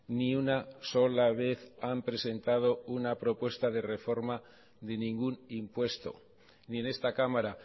ni una sola vez han presentado una propuesta de reforma de ningún impuesto ni en esta cámara